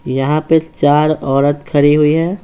यहाँ पे चार औरत खड़ी हुई है।